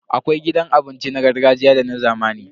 Akwai gidan abinci na gargajiya da na zamani.